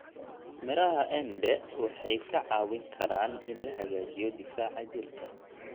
Miraha embe waxay ka caawin karaan in la hagaajiyo difaaca jirka.